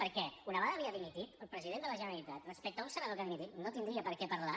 perquè una vegada havia dimitit el president de la generalitat respecte a un senador que ha dimitit no tindria per què parlar